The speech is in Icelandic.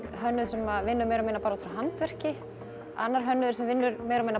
hönnuður sem vinnur meira og minna bara út frá handverki annar hönnuður sem vinnur meira og minna